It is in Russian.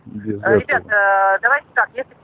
ребят ээ давайте так если